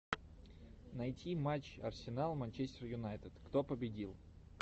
найти матч арсенал манчестер юнайтед кто победил